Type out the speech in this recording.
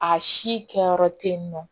A si kɛyɔrɔ tɛ yen nɔ